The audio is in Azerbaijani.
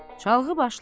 Çalğı başlar.